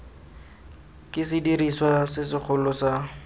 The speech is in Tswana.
ke sediriswa se segolo sa